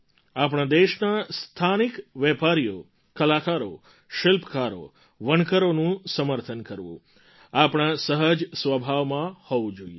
આપણા દેશના સ્થાનિક વેપારીઓ કલાકારો શિલ્પકારો વણકરોનું સમર્થન કરવું આપણા સહજ સ્વભાવમાં હોવું જોઈએ